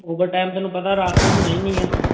overtime ਤੈਨੂੰ ਪਤਾ ਰਾਤ ਤੇ ਹੋਣਾ ਹੀ ਨੀ ਹੈ।